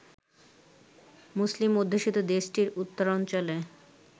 মুসলিম অধ্যুষিত দেশটির উত্তরাঞ্চলে